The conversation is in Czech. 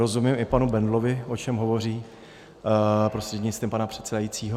Rozumím i panu Bendlovi, o čem hovoří prostřednictvím pane předsedajícího.